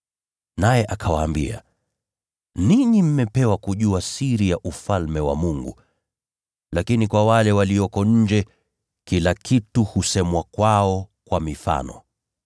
Naye akawaambia, “Ninyi mmepewa kujua siri ya Ufalme wa Mungu. Lakini kwa wale walioko nje, kila kitu husemwa kwao kwa mifano,